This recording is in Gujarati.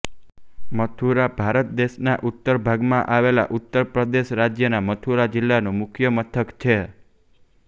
મથુરા ભારત દેશના ઉત્તર ભાગમાં આવેલા ઉત્તર પ્રદેશ રાજ્યના મથુરા જિલ્લાનું મુખ્ય મથક છે